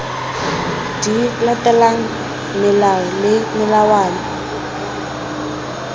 di latelang melao le melawana